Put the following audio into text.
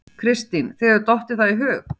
Kristín: Þér hefur dottið það í hug?